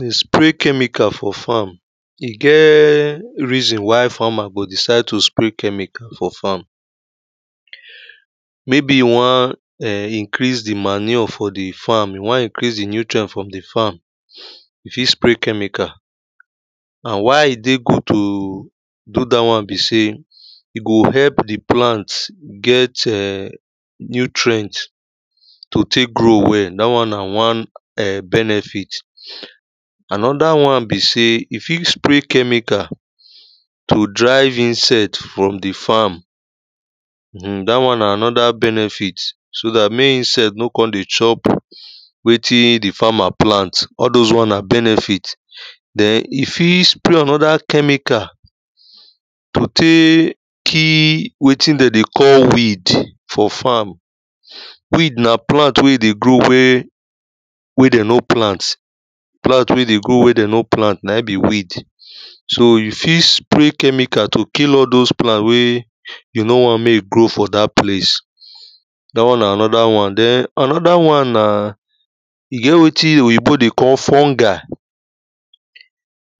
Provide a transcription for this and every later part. dey spray chemical for farm, it get reason why farmer go decide to spray chemical for farm. Maybe he want um increase the manure for the farm, he want increase the nutrient for the farm if he spray chemical, and why it dey go to do that one be say it go help the plant get nutrient to take grow well, that one na one um benefit. Another one be say if you spray chemical to drive insects from the farm, um that one na another benefit so that make insects no dey chop wetin the farmer plant, all those one na benefit. Then if he spray another chemical to take kill waiting them dey call weed for farm, weed na plant wey dey grow wey wey they no plant, plant wey dey grow wey they no plant, na be weed, so you fit spray chemical to kill all those plant wey you no want make grow for that place. That one na another one. Then another one na it get waiting wey oyibo dey call fungi,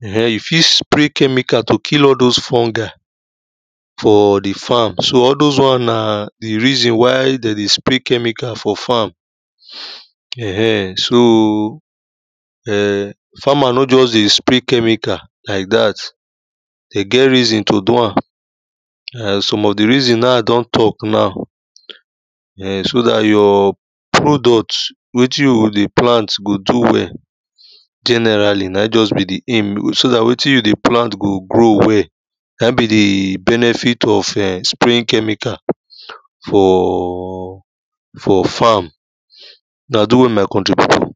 um you fit spray chemical to kill all those fungi for the farm, so all those one na the reason why they dey spray chemical for farm, um so, farmer no just dey spray chemical like that, they get reason to do am, um some of the reason na I don talk now, um so that your product wetin you dey plant go do well, generally, na just be the aim, so that waiting you dey plant go grow well, na be the benefit of spraying chemical for for farm, na do well my country people.